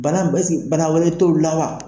Bana bɛ ɛse bana wɛrɛtɔ la wa?